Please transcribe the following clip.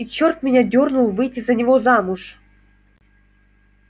и чёрт меня дёрнул выйти за него замуж